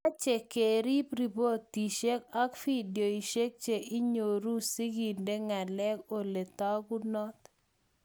Mache kerib ripotishek ak videoishek che nyoru si kende ng'alek ole tagunot